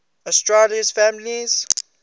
asterales families